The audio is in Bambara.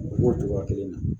O b'o togoya kelen na